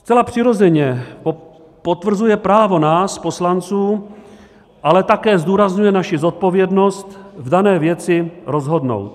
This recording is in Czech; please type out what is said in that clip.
Zcela přirozeně potvrzuje právo nás poslanců - ale také zdůrazňuje naši zodpovědnost v dané věci - rozhodnout.